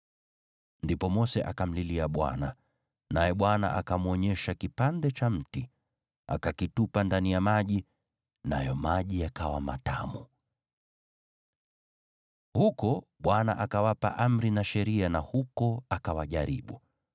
Ndipo Mose akamlilia Bwana , naye Bwana akamwonyesha kipande cha mti. Akakitupa ndani ya maji, nayo maji yakawa matamu. Huko Bwana akawapa amri na sheria na huko akawajaribu.